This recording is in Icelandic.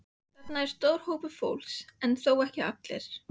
Þannig er stór hópur fólks, en ekki þó allir.